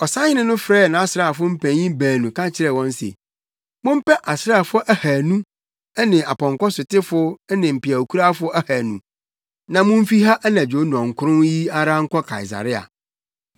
Ɔsahene no frɛɛ nʼasraafo mpanyimfo baanu ka kyerɛɛ wɔn se, “Mompɛ asraafo ahannu ne apɔnkɔsotefo ne mpeawkurafo ahannu na mumfi ha anadwo nnɔnkron yi ara nkɔ Kaesarea.